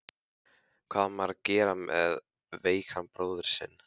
Hvað á maður að gera með veikan bróður sinn?